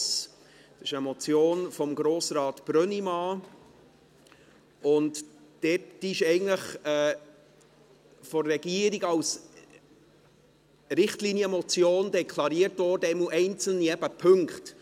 Es ist eine Motion von Grossrat Brönnimann Sie wurde von der Regierung eigentlich als Richtlinienmotion deklariert, zumindest einzelne Punkte.